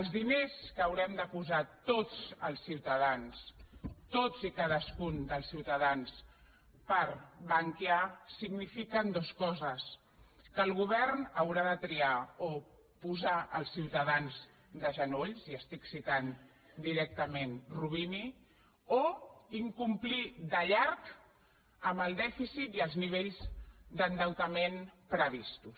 els diners que haurem de posar tots els ciutadans tots i cadascun dels ciutadans per bankia signifiquen dues coses que el govern haurà de triar o posar els ciutadans de genolls i estic citant directament roubini o incomplir de llarg amb el dèficit i els nivells d’endeutament previstos